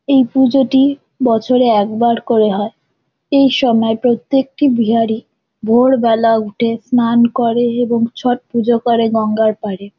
এই পুজোটি বছরে একবার করে হয় এই সময় প্রত্যেকটি বিহারি ভোরবেলা উঠে স্নান করে এবং ছট পুজো করে গঙ্গার পারে।